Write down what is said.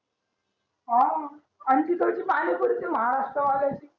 हां आणि तिकडची पाणी पुरी ती महाराष्ट्र वाल्याची